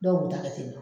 Dɔw b'u da ka teli